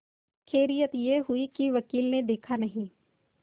खैरियत यह हुई कि वकील ने देखा नहीं